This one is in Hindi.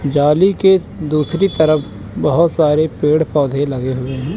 जाली के दूसरी तरफ बहुत सारे पेड़ पौधे लगे हुए हैं।